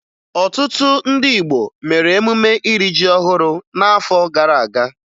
Ọtụtụ ndị Igbo mere emume iri ji ọhụrụ n'afọ gara aga